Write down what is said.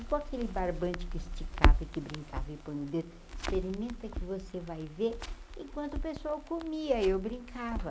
E com aquele barbante que esticava e que brincava e põe o dedo, experimenta que você vai ver enquanto o pessoal comia eu brincava.